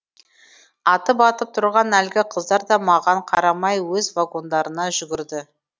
атып атып тұрған әлгі қыздар да маған қарамай өз вагондарына жүгірді